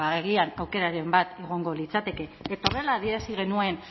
ba agian aukeraren bat egongo litzateke eta horrela adierazi genuen